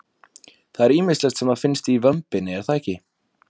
Það er ýmislegt sem að finnst í vömbinni er það ekki?